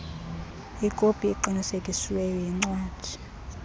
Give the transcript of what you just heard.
ikopi eqinisekisiweyo yencwadi